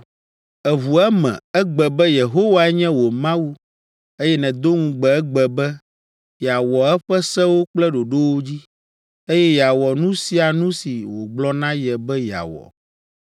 Èʋu eme egbe be Yehowae nye wò Mawu, eye nèdo ŋugbe egbe be, yeawɔ eƒe sewo kple ɖoɖowo dzi, eye yeawɔ nu sia nu si wògblɔ na ye be yeawɔ.